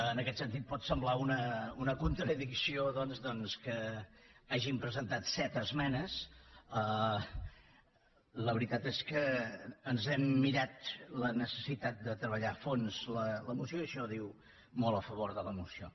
en aquest sentit pot semblar una contradicció doncs que hàgim presentat set esmenes la veritat és que ens hem mirat la necessitat de treballar a fons la moció i això diu molt a favor de la moció